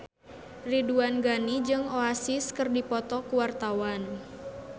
Ridwan Ghani jeung Oasis keur dipoto ku wartawan